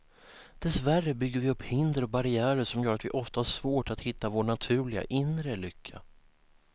Dessvärre bygger vi upp hinder och barriärer som gör att vi ofta har svårt att hitta vår naturliga, inre lycka.